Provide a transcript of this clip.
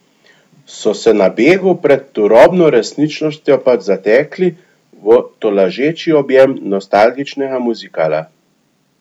So se na begu pred turobno resničnostjo pač zatekli v tolažeči objem nostalgičnega muzikala?